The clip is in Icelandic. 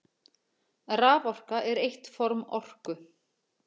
Raforka er eitt form orku.